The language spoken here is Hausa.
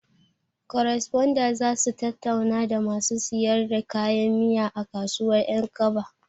Koresponda zasu tattauna da masu siyar da kayan miya a kasuwar ƴankaba